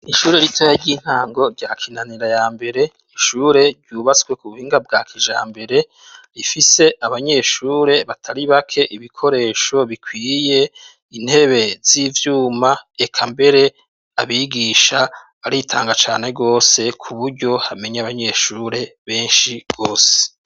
Ishure ritoya ry'intango, rya Kinanira ya mbere, ishure ryubatswe ku buhinga bwa kijambere; rifise abanyeshure batari bake, ibikoresho bikwiye, intebe z'ivyuma, eka mbere, abigisha baritanga cane rwose, ku buryo hamenya abanyeshure benshi rwose.